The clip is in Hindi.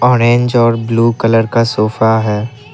ऑरेंज और ब्ल्यू कलर का सोफा है।